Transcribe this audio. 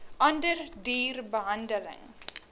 ander duur behandeling